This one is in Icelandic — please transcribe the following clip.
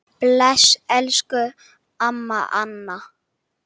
Bless, elsku amma Anna.